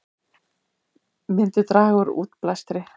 Myndi draga úr útblæstri